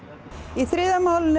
í þriðja málinu